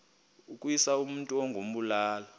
ukuwisa umntu ngokumbulala